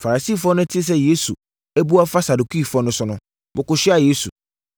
Farisifoɔ no tee sɛ Yesu abu afa Sadukifoɔ no so no, wɔkɔhyiaa Yesu.